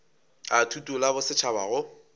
a thuto la bosetšhaba go